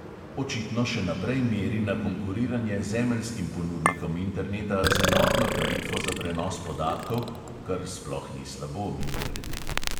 Očitno še naprej meri na konkuriranje zemeljskim ponudnikom interneta z enotno tarifo za prenos podatkov (kar sploh ni slabo, mimogrede).